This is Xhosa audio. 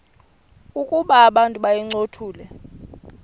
ukuba abantu bayincothule